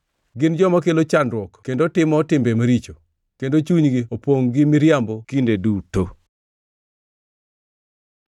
Gin joma kelo chandruok kendo timo timbe maricho; kendo chunygi opongʼ gi miriambo kinde duto.”